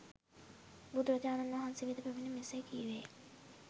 බුදුරජාණන් වහන්සේ වෙත පැමිණ මෙසේ කීවේය